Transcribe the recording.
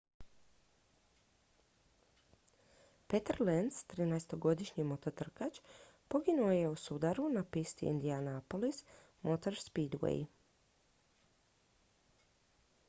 peter lenz trinaestogodišnji mototrkač poginuo je u sudaru na pisti indianapolis motor speedway